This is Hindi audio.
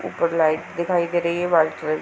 ऊपर लाइट दिखाई दे रही है। White colour --